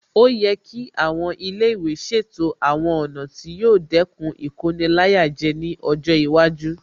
Ó yẹ kí àwọn ilé ìwé ṣètò àwọn ọ̀nà tí yóò dẹ́kun Ìkoni-láyàjẹ ní ọjọ́ iwájú